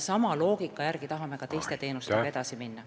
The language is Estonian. Sama loogika järgi tahame ka teiste teenustega edasi minna.